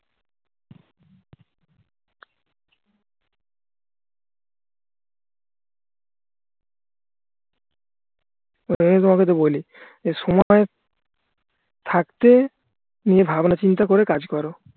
এই কারণেই তো বলি যে সময় থাকতে তুমি ভাবনা চিন্তা করে কাজ করো